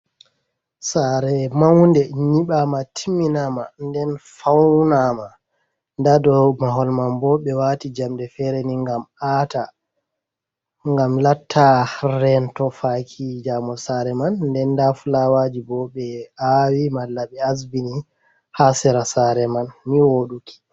Saare maude nyibama timmiɲama, den faunama, ɲda dou mahol maibo be wati jamde fere gam ata gam latta rento faki jaumo saare man, nden nda fulawajiboo be awi mallabe asbini ni wooḍuki.